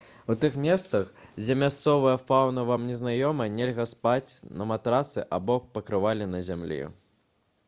у тых месцах дзе мясцовая фаўна вам не знаёма нельга спаць на матрацы або пакрывале на зямлі